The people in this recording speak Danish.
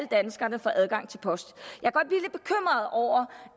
danskere får adgang til post jeg